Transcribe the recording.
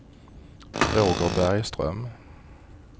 Roger Bergström